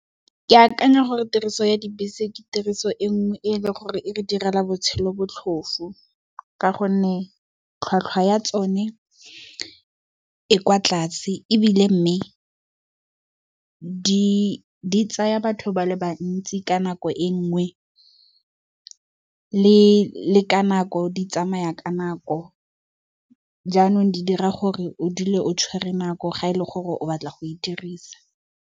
Ke akanya gore tiriso ya dibese ke tiriso e nngwe e e leng gore e re direla botshelo botlhofu. Ka gonne tlhwatlhwa ya tsone e kwa tlase ebile mme, di tsaya batho ba le bantsi ka nako e le nngwe le ka nako, di tsamaya ka nako jaanong, di dira gore o dule o tshwere nako ga e le gore o batla go e dirisa.